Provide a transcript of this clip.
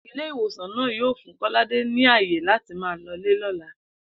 Ilé ìwòsàn náà yóò fún Kó̩ládé ní àyè láti máa lo̩lé ló̩la